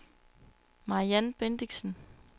Mariann Bendixen